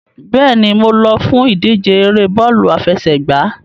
Bẹ́ẹ̀ni, mo lọ fún ìdíje ère bọ́ọ̀lù àfẹsẹ̀gbá.